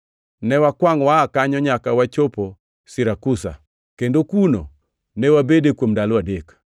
Ne wakwangʼ waa kanyo nyaka wachopo Sirakusa, kendo kuno ne wabede kuom ndalo adek.